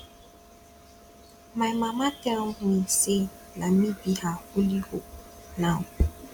my mama tell me say na me be her only hope now